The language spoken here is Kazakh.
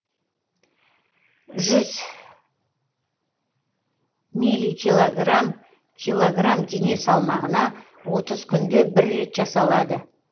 жүз милли килограмм килограмм дене салмағына отыз күнде бір рет жасалады